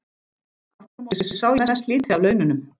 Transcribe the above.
Aftur á móti sá ég mest lítið af laununum.